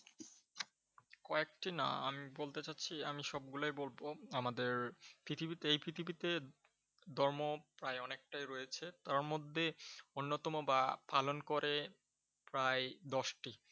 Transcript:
কয়েকটি না আমি বলতে চাছসি আমি সব গুলোই বলব আমাদের পৃথিবীতে, এই পৃথিবীতে ধর্ম প্রায় অনেকটাই রয়েছে। তার মধ্যে অন্যতম বা পালন করে প্রায় দশটি।